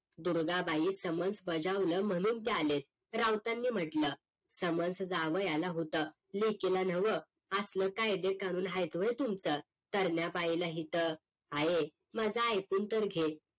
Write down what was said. Durga Bai summons बजावला म्हणून ते आलेत राऊतांनी म्हटलं समन्स जावायाला होतं लेकीला नव्ह असलं कायदे कानून आहेत व्हय तुमच सरण्या पाईला इथं आये माझ एकून तर घे